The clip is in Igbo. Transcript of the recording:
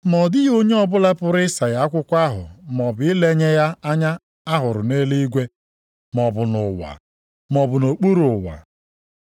Ma ọ dịghị onye ọbụla pụrụ ịsaghe akwụkwọ ahụ maọbụ ilenye ya anya a hụrụ nʼeluigwe, maọbụ nʼụwa, maọbụ nʼokpuru ụwa.